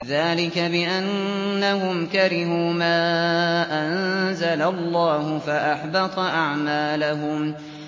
ذَٰلِكَ بِأَنَّهُمْ كَرِهُوا مَا أَنزَلَ اللَّهُ فَأَحْبَطَ أَعْمَالَهُمْ